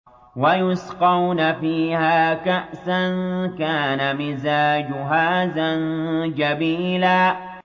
وَيُسْقَوْنَ فِيهَا كَأْسًا كَانَ مِزَاجُهَا زَنجَبِيلًا